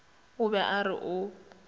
o be a re o